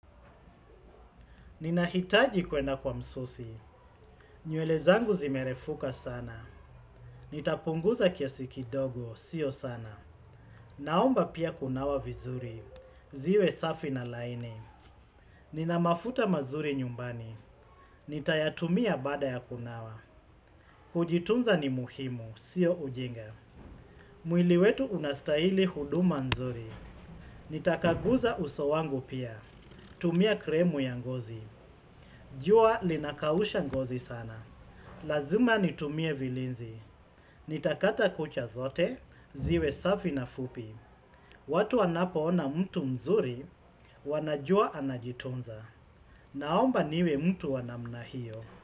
Ninahitaji kwenda kwa msusi. Nywele zangu zimerefuka sana. Nitapunguza kiasi kidogo, sio sana. Naomba pia kunawa vizuri, ziwe safi na laini. Nina mafuta mazuri nyumbani. Nitayatumia baada ya kunawa. Kujitunza ni muhimu, sio ujinga. Mwili wetu unastahili huduma nzuri. Nitakaguza uso wangu pia. Tumia klemu ya ngozi. Jua linakausha ngozi sana. Lazima nitumie vilinzi. Nitakata kucha zote, ziwe safi na fupi. Watu wanapoona mtu mzuri, wanajua anajitunza. Naomba niwe mtu wa namna hiyo.